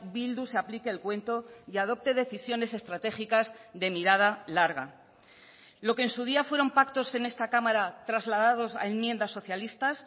bildu se aplique el cuento y adopte decisiones estratégicas de mirada larga lo que en su día fueron pactos en esta cámara trasladados a enmiendas socialistas